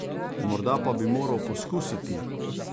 Morda pa bi moral poskusiti!